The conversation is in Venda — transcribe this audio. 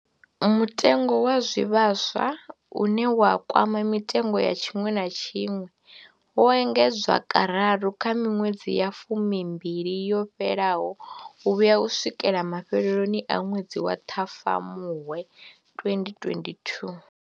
Mutengo wa zwivhaswa, une wa kwama mitengo ya tshiṅwe na tshiṅwe, wo engedzwa kararu kha miṅwedzi ya fumi mbili yo fhelaho u vhuya u swikela mafheloni a ṅwedzi wa Ṱhafamuhwe 2022.